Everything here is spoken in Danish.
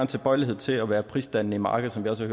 tilbøjelighed til at være prisdannende i markedet som vi også